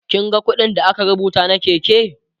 kin ga ƙuɗin da aka rubuta na Keke?